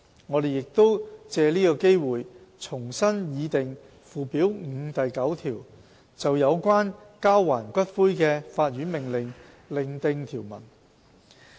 我們亦藉此機會重新擬訂附表5第9條，就有關交還骨灰的法院命令另訂條文。